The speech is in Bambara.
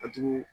A jugu